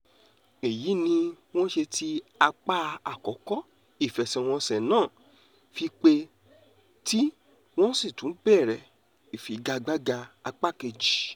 èyí ni wọ́n ṣe tí apá àkọ́kọ́ ìfẹsẹ̀wọnsẹ̀ náà fi pé tí wọ́n sì tún bẹ̀rẹ̀ ìfigagbága apá kejì